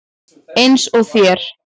Eins og þér.